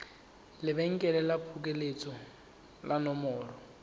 lebenkele la phokoletso le nomoro